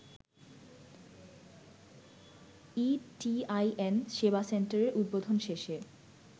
e-TIN সেবা সেন্টারের উদ্বোধন শেষে